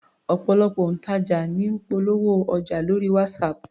Ọ̀pọ̀lọpọ̀ òǹtajà ní ń polówó ọjà lórí WhatsApp